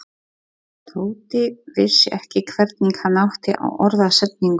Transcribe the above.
Tóti vissi ekki hvernig hann átti að orða setninguna.